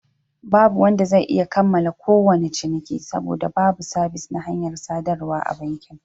Babu wanda zai iya kammala kowane ciniki, saboda babu sabis na hanyar sadarwa a bankin.